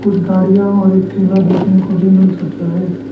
कुछ गाड़ियां और एक ठेला देखने को भी मिल सकता है।